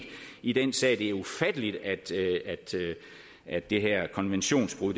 i den sag det er ufatteligt at det her konventionsbrud